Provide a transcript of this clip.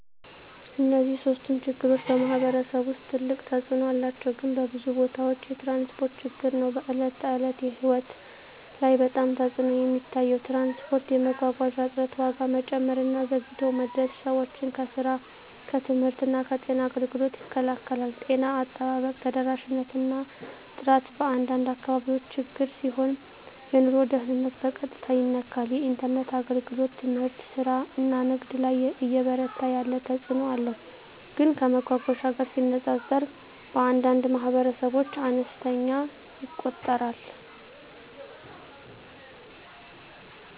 እነዚህ ሶስቱም ችግሮች በማኅበረሰብ ውስጥ ትልቅ ተፅእኖ አላቸው፣ ግን በብዙ ቦታዎች የትራንስፖርት ችግር ነው በዕለት ተዕለት ሕይወት ላይ በጣም ተፅዕኖ የሚታየው። ትራንስፖርት የመጓጓዣ እጥረት፣ ዋጋ መጨመር እና ዘግይቶ መድረስ ሰዎችን ከስራ፣ ከትምህርት እና ከጤና አገልግሎት ይከላከላል። ጤና አጠባበቅ ተደራሽነት እና ጥራት በአንዳንድ አካባቢዎች ችግር ሲሆን የኑሮ ደህንነትን በቀጥታ ይነካል። የኢንተርኔት አገልግሎት ትምህርት፣ ስራ እና ንግድ ላይ እየበረታ ያለ ተፅእኖ አለው፣ ግን ከመጓጓዣ ጋር ሲነጻጸር በአንዳንድ ማኅበረሰቦች አነስተኛ ይቆጠራል።